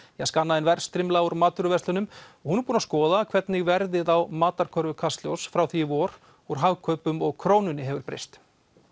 skanna inn verðstrimla úr matvöruverslunum hún er búin að skoða hvernig verðið á matarkörfu Kastljóss frá því í vor úr Hagkaupum og Krónunni hefur breyst